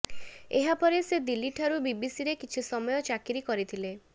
ଏହାପରେ ସେ ଦିଲ୍ଲୀଠାରେ ବିବିସିରେ କିଛି ସମୟ ଚାକିରୀ କରିଥିଲେ